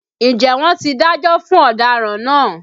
Ǹjẹ́ wọ́n ti dájọ́ fún ọ̀daràn náà